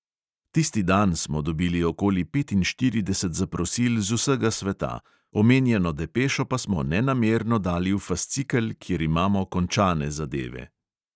Tisti dan smo dobili okoli petinštirideset zaprosil z vsega sveta, omenjeno depešo pa smo nenamerno dali v fascikel, kjer imamo končane zadeve.